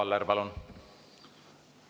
Arvo Aller, palun!